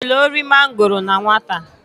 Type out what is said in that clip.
I jelu ori mangoro na nwata?